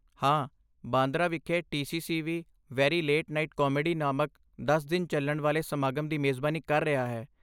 ਹਾਂ, ਬਾਂਦਰਾ ਵਿਖੇ ਟੀ.ਸੀ.ਸੀ. ਵੀ 'ਵੇਰੀ ਲੇਟ ਨਾਈਟ ਕਾਮੇਡੀ' ਨਾਮਕ ਦਸ ਦਿਨ ਚੱਲਣ ਵਾਲੇ ਸਮਾਗਮ ਦੀ ਮੇਜ਼ਬਾਨੀ ਕਰ ਰਿਹਾ ਹੈ।